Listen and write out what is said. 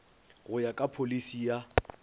go ya ka pholisi ya